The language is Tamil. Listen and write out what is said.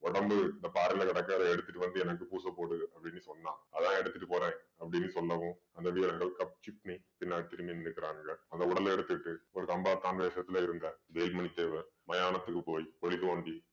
உடம்பு இந்த பாறையில கிடக்கற எடுத்துட்டு வந்து எனக்கு பூச போடு அப்படின்னு சொன்னா அதான் எடுத்துட்டு போறேன் அப்படின்னு சொல்லவும் அந்த வீரர்கள் பின்னாடி திரும்பி நின்னுக்குறாங்க அந்த உடலை எடுத்துக்கிட்டு ஒரு கம்பா இருந்த வேலுமணி தேவர் மயானத்துக்கு போய் குழி தோண்டி